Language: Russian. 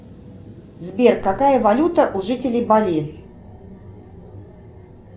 сбер какая валюта у жителей бали